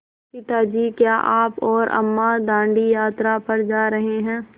पिता जी क्या आप और अम्मा दाँडी यात्रा पर जा रहे हैं